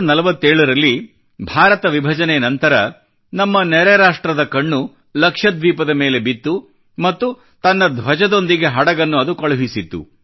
1947 ರಲ್ಲಿ ಭಾರತ ವಿಭಜನೆ ನಂತರ ನಮ್ಮ ನೆರೆ ರಾಷ್ಟ್ರದ ಕಣ್ಣು ಲಕ್ಷದ್ವೀಪದ ಮೇಲೆ ಬಿತ್ತು ಮತ್ತು ತನ್ನ ಧ್ವಜದೊಂದಿಗೆ ಹಡಗನ್ನು ಅದು ಕಳುಹಿಸಿತ್ತು